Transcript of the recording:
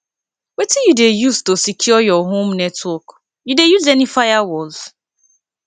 wetin you dey use to secure your home network you dey use any firewalls